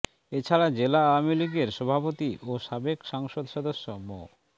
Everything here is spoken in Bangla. এ ছাড়া জেলা আওয়ামী লীগের সভাপতি ও সাবেক সংসদ সদস্য মো